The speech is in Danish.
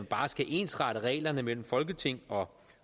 bare skal ensrette reglerne mellem folketing og